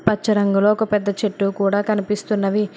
పచ్చ రంగులో ఒక పెద్ద చెట్టు కూడా కనిపిస్తున్నవి.